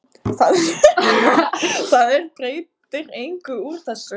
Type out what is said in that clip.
Það er breytir engu úr þessu.